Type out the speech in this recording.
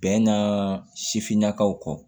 Bɛnkan sifinnakaw kɔ